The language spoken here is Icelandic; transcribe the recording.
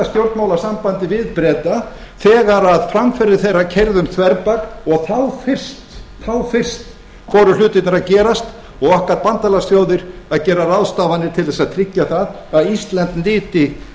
stjórnmálasambandi við breta þegar að framferði þeirra keyrði um þverbak og þá fyrst fóru hlutina að gerast og okkar bandalagsþjóðir að gera ráðstafanir til þess að tryggja það að ísland nyti